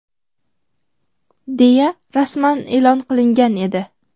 deya rasman e’lon qilingan edi.